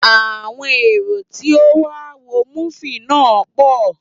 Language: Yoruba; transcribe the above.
Àwọn èrò tí ó wá wo múfì náà pọ